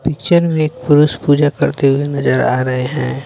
Picture में एक पुरुष पूजा करते हुए नजर आ रहे हैं।